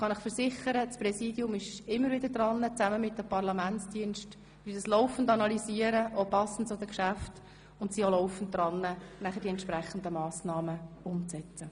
Ich kann Ihnen versichern, dass sich das Präsidium zusammen mit den Parlamentsdiensten immer wieder damit auseinandersetzt, die Situation – auch passend zu den Geschäften – laufend analysiert und die entsprechenden Massnahmen umsetzt.